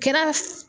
Kɛra